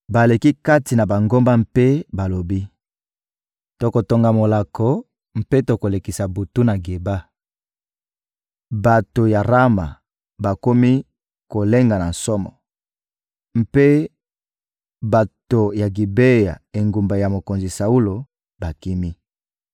Baleki kati na bangomba mpe balobi: «Tokotonga molako mpe tokolekisa butu na Geba.» Bato ya Rama bakomi kolenga na somo, mpe bato ya Gibea, engumba ya mokonzi Saulo, bakimi.